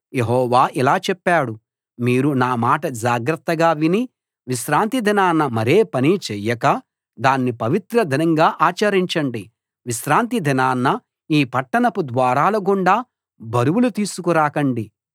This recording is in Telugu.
యెహోవా ఇలా చెప్పాడు మీరు నామాట జాగ్రత్తగా విని విశ్రాంతి దినాన మరే పనీ చేయక దాన్ని పవిత్ర దినంగా ఆచరించండి విశ్రాంతి దినాన ఈ పట్టణపు ద్వారాల గుండా బరువులు తీసుకు రాకండి